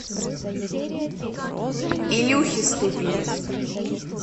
илюхе ступине